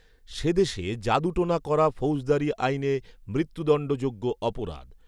সে দেশে জাদু টোনা করা ফৗেজদারী আইনে মৃত্যুদণ্ডযোগ্য অপরাধ